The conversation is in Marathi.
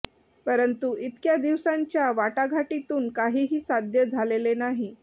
परंतु इतक्या दिवसांच्या वाटाघाटीतून काहीही साध्य झालेले नाही